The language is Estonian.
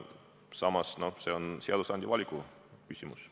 Samas, see on seadusandja valiku küsimus.